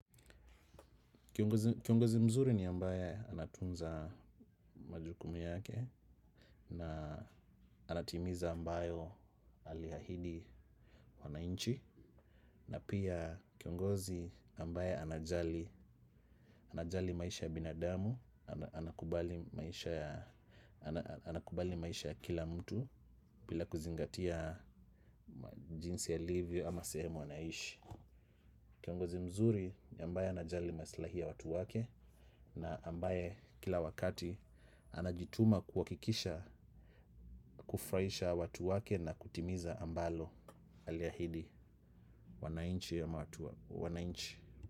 Kiongozi mzuri ni ambaye anatunza majukumu yake na anatimiza ambayo alihahidi wanainchi na pia kiongozi ambaye anajali maisha ya binadamu, anakubali maisha ya kila mtu bila kuzingatia jinsi ya livyo ama sehemu anaishi. Kiongozi mzuri ni ambae anajali maslahi ya watu wake na ambaye kila wakati anajituma kuhakikisha kufraisha watu wake na kutimiza ambalo alia hidi wanainchi ama wanainchi.